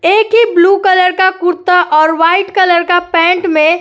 एक ही blue colour का कुर्ता और व्हाइट कलर का पैंट में --